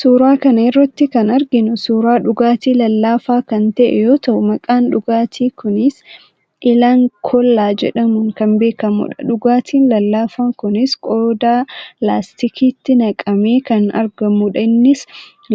Suuraa kana irratti kan arginu suuraa dhugaatii lallaafaa kan ta'e yoo ta'u, maqaan dhugaatii kuniis 'Alang cola' jedhamuun kan beekamudha. Dhugaatiin lallaafaa kunis qodaa laastikiitti naqamee kan argamudha. Innis